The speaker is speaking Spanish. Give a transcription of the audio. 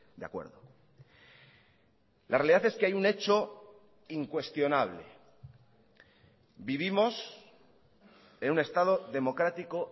de acuerdo la realidad es que hay un hecho incuestionable vivimos en un estado democrático